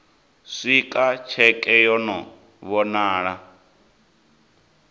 swika tsheke yo no vhonala